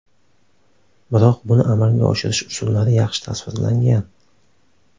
Biroq buni amalga oshirish usullari yaxshi tasvirlangan.